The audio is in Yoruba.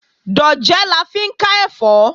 Dòjé la fi ń ká ẹ̀fọ́